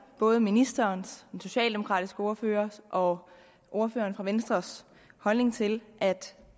både ministerens den socialdemokratiske ordførers og ordføreren fra venstres holdning til